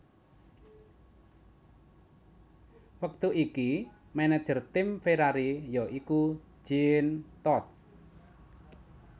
Wektu iki manajer tim Ferrari ya iku Jean Todt